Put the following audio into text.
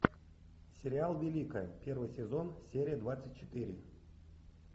сериал великая первый сезон серия двадцать четыре